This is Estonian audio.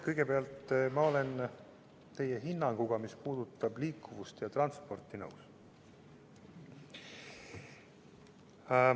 Kõigepealt, ma olen teie hinnanguga, mis puudutab liikuvust ja transporti, nõus.